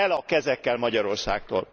El a kezekkel Magyarországtól!